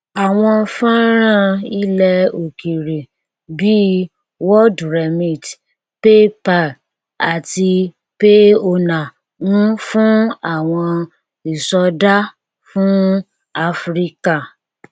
àwọn fọnrán ilẹ òkèèrè bíi worldremit paypal àti payoneer ń fún owó ìsọdá fún áfíríkà